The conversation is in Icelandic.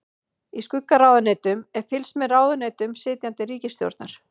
Í skuggaráðuneytum er fylgst með ráðuneytum sitjandi ríkisstjórnar.